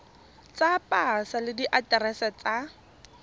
tsa pasa le diaterese tsa